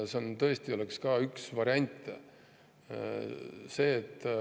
See tõesti oleks ka üks variante.